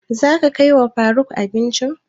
Za ka kai wa faruk abinci?